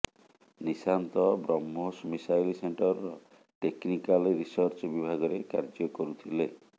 Nishant BrahMos missile ସେଣ୍ଟରର technical research ବିଭାଗରେ କାର୍ଯ୍ୟ କରୁଥିଲେ